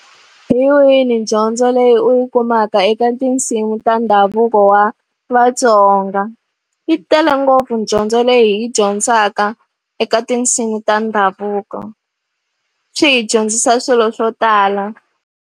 Hi wihi dyondzo leyi u yi kumaka eka tinsimu ta ndhavuko wa Vatsonga. Yi tele ngopfu dyondzo leyi hi yi dyondzaka eka tinsimu ta ndhavuko. Swi hi dyondzisa swilo swo tala.